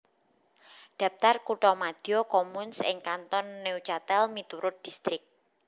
Daptar kuthamadya communes ing Kanton Neuchâtel miturut distrik